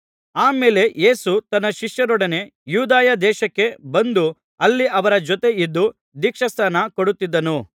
ಆ ಮೇಲೆ ಯೇಸು ತನ್ನ ಶಿಷ್ಯರೊಡನೆ ಯೂದಾಯ ದೇಶಕ್ಕೆ ಬಂದು ಅಲ್ಲಿ ಅವರ ಜೊತೆ ಇದ್ದು ದೀಕ್ಷಾಸ್ನಾನ ಕೊಡುತ್ತಿದ್ದನು